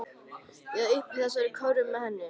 Eða uppi í þessari körfu með henni.